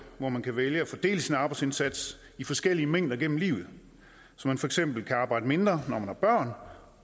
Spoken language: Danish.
hvor man kan vælge at fordele sin arbejdsindsats i forskellige mængder gennem livet så man for eksempel kan arbejde mindre når